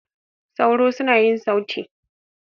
Sauro suna yin sauti.